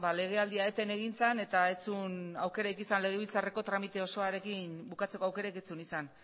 legealdia eten egin zenez legebiltzarreko tramite osoarekin bukatzeko aukerarik ez zuen izan